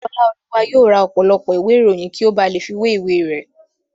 Ọláolúwa yóò ra ọ̀pọ̀lọpọ̀ ìwé ìròyìn kí ó ba lè fi wé ìwé rẹ̀